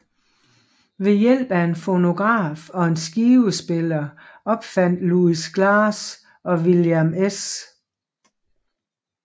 Ved hjælp af en fonograf og en skivespiller opfandt Louis Glass og William S